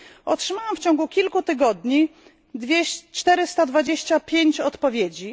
Otrzymałam w ciągu kilku tygodni 425 odpowiedzi.